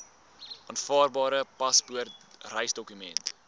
aanvaarbare paspoort reisdokument